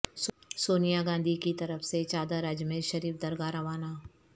سونیا گاندھی کی طرف سے چادر اجمیر شریف درگاہ روانہ